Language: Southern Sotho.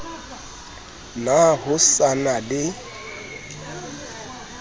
na ho sa na le